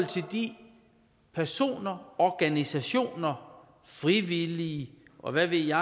til de personer organisationer frivillige og hvad ved jeg